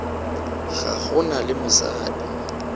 ga go na le mosadi